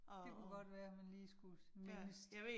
Det kunne godt være, man lige skulle mindes